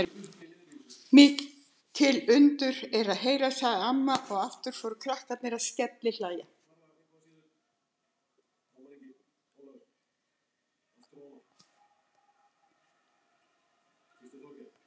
Mikil undur er að heyra, sagði amma og aftur fóru krakkarnir allir að skellihlæja.